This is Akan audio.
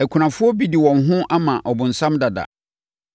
Akunafoɔ bi de wɔn ho ama ɔbonsam dada.